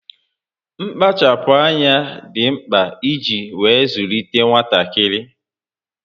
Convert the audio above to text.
Mkpachapụ́ ányá dị mkpa iji wee zụlite nwatakịrị